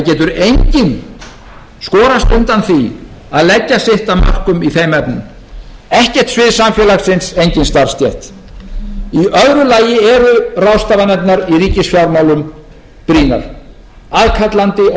getur enginn skorast undan því að leggja sitt af mörkum í þeim efnum ekkert svið samfélagsins engin starfsstétt í öðru lagi eru ráðstafanirnar í ríkisfjármálum brýnar aðkallandi og